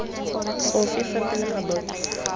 ofe fa pele ga boto